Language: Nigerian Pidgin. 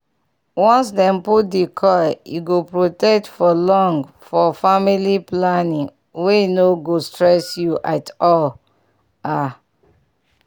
once dem put di coil e go protect for long for family planning wey no go stress you at all ah